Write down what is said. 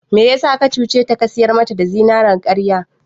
Me yasa ka cuce ta ka sayar mata da zinarin karya??